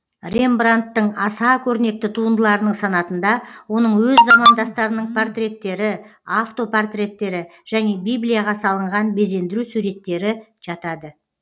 рембрандттың аса көрнекті туындыларының санатында оның өз замандастарының портреттері автопортреттері және библияға салынған безендіру суреттері жатады